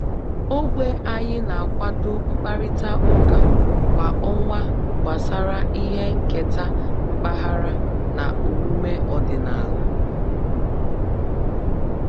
Ogbe anyị na-akwado mkparịta ụka kwa ọnwa gbasara ihe nketa mpaghara na omume ọdịnala